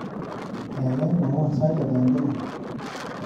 Gaigai mwawon sait ata eng Kenya